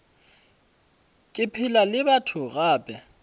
ke phela le batho gape